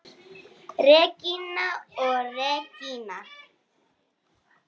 Regína og Regína.